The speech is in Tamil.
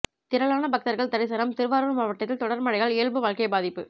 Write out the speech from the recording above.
திரளான பக்தர்கள் தரிசனம் திருவாரூர் மாவட்டத்தில் தொடர் மழையால் இயல்பு வாழ்க்கை பாதிப்பு